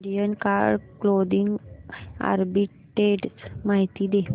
Indian card clothing arbitrage माहिती दे